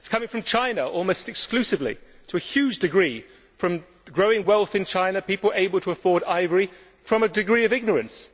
It is coming from China, almost exclusively, to a huge degree from growing wealth in China, people being able to afford ivory, and from a degree of ignorance.